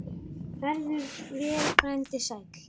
Farðu vel, frændi sæll.